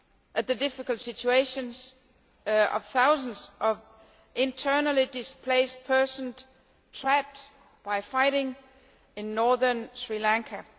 at the difficult situation of thousands of internally displaced persons trapped by fighting in northern Sri Lanka.